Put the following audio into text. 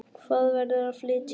Hún verður að flytja.